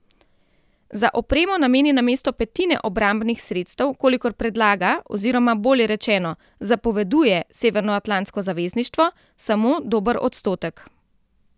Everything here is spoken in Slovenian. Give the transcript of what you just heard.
Za opremo nameni namesto petine obrambnih sredstev, kolikor predlaga oziroma, bolje rečeno, zapoveduje Severnoatlantsko zavezništvo, samo dober odstotek.